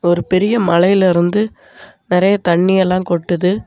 ஒரு பெரிய மலைல இருந்து நறையா தண்ணி எல்லா கொட்டுது.